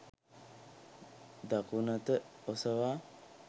දකුණත ඔසවා